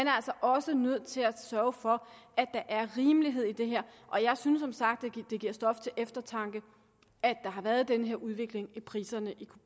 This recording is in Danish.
er altså også nødt til at sørge for at der er rimelighed i det her og jeg synes som sagt det giver stof til eftertanke at der har været den her udvikling i priserne